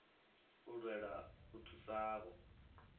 u lwela u thusa avho